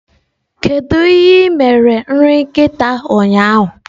Kedu ihe ị mere nri nkịta ụnyaahụ?